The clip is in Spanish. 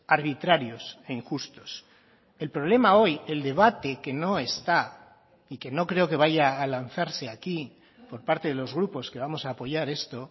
arbitrarios e injustos el problema hoy el debate que no está y que no creo que vaya a lanzarse aquí por parte de los grupos que vamos a apoyar esto